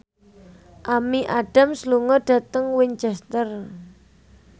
Amy Adams lunga dhateng Winchester